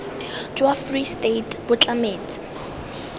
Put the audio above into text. jwa free state bo tlametse